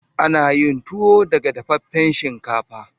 Ana yin tuwo daga dafaffen shinkafa.